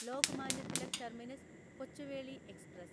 Lokmanya Tilak terminus Kochuveli express